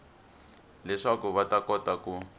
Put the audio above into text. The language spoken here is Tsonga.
leswaku va ta kota ku